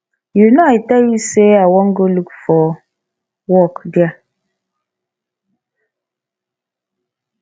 you know i tell you say i wan go look for work there